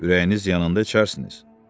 Ürəyiniz yanan da içərsiniz.